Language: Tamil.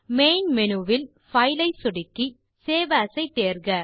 மெயின் மேனு வில் பைல் ஐ சொடுக்கி சேவ் ஏஎஸ் ஐ தேர்க